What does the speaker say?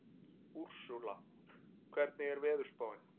Úrsúla, hvernig er veðurspáin?